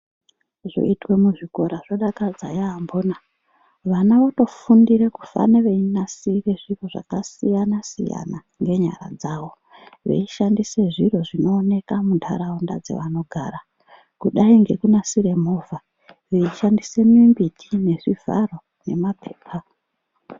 Zvoitwe muzvikora zvodakadza yaamhona. Vana votofundire kufane veinasire zviro zvakasiyana-siyana ngenyara dzavo veishandise zviro zvinoonekwe muntaraunda dzavanogara kudai ngekunasire movha veishandise mimbiti nezvivharo nemaphepa.